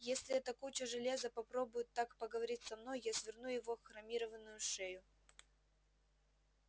если эта куча железа попробует так поговорить со мной я сверну его хромированную шею